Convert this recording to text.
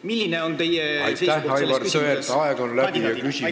Milline on teie kui riigikontrolöri kandidaadi seisukoht selles küsimuses?